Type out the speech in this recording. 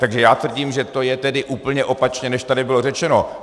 Takže já tvrdím, že to je tedy úplně opačně, než tady bylo řečeno.